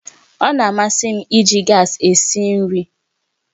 Ọ na-amasị m iji gas esi nri